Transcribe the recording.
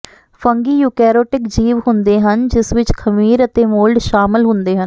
fungi eukaryotic ਜੀਵ ਹੁੰਦੇ ਹਨ ਜਿਸ ਵਿੱਚ ਖਮੀਰ ਅਤੇ ਮੋਲਡ ਸ਼ਾਮਲ ਹੁੰਦੇ ਹਨ